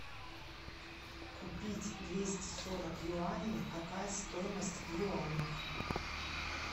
купить двести сорок юаней какая стоимость в юанях